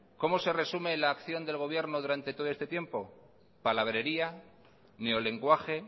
cómo se resume la acción del gobierno durante todo este tiempo palabrería neolenguaje